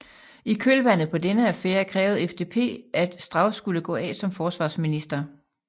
I kølvandet på denne affære krævede FDP at Strauß skulle gå af som forsvarsminister